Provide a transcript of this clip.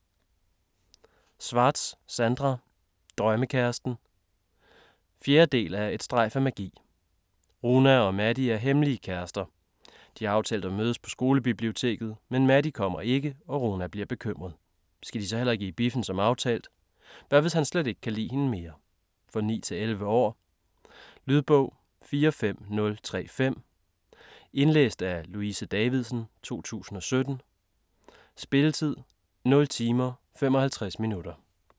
Schwartz, Sandra: Drømmekæresten 4. del af Et strejf af magi. Runa og Mahdi er hemmelige kærester. De har aftalt at mødes på skolebiblioteket, men Mahdi kommer ikke og Runa bliver bekymret. Skal de så heller ikke i biffen som aftalt? Hvad hvis han slet ikke kan lide hende mere? For 9-11 år. Lydbog 45035 Indlæst af Louise Davidsen, 2017. Spilletid: 0 timer, 55 minutter.